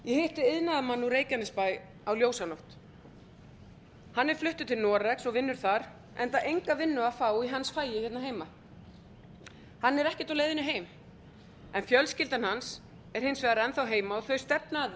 ég hitti iðnaðarmann úr reykjanesbæ á ljósanótt hann er fluttur til noregs og vinnur þar enda enga vinnu að fá í hans fagi hérna heima hann er ekkert á leiðinni heim en fjölskyldan hans er hins vegar enn þá heima og þau stefna að